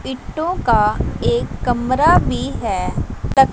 ईंटों का एक कमरा भी है।